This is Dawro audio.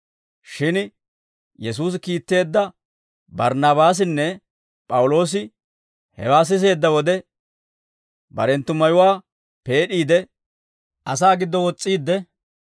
Shin Yesuusi kiitteedda Barnnaabaasinne P'awuloosi hewaa siseedda wode barenttu mayuwaa peed'iide, asaa giddo wos's'iidde,